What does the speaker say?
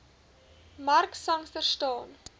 mark sangster staan